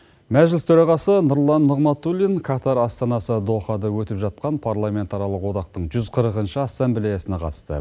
мәжіліс төрағасы нұрлан нығматулин катар астанасы дохада өтіп жатқан парламентаралық одақтың жүз қырқыншы ассамблеясына қатысты